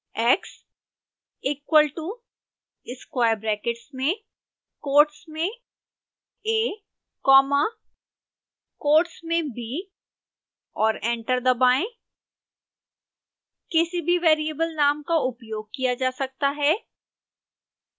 x equal to square brackets में quotes में a comma quotes में b और एंटर दबाएं